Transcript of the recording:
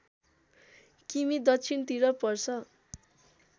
किमि दक्षिणतिर पर्छ